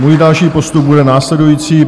Můj další postup bude následující.